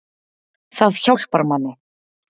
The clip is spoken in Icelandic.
Það hjálpar manni